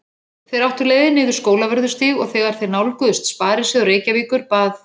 Þeir áttu leið niður Skólavörðustíg og þegar þeir nálguðust Sparisjóð Reykjavíkur bað